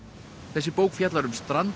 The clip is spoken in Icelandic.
þessi bók fjallar um strand